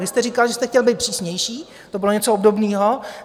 Vy jste říkal, že jste chtěl být přísnější - to bylo něco obdobného.